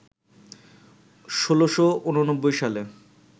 ১৬৮৯ সালে